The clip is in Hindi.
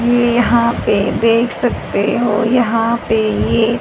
यहां पे देख सकते हो यहां पे ये--